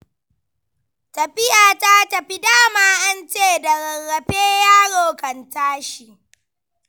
Tafiya ta tafi, da ma an ce da rarrafe yaro kan tashi.